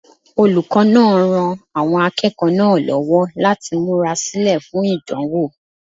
Olùkọ́ náà ran àwọn akẹ́kọ̀ọ́ náà lọ́wọ́ láti múra sílẹ̀ fún ìdánwò.